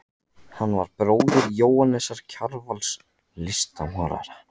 Hann var bróðir Jóhannesar Kjarvals, listmálara.